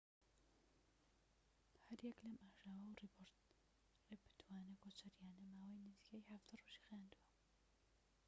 هەر یەك لەم ئاژاوە و ڕێپێوانە کۆچەرییانە ماوەی نزیکەی ١٧ ڕۆژی خایاندووە